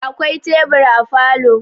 Akwai tebur a falo